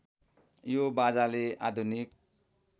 यो बाजाले आधुनिक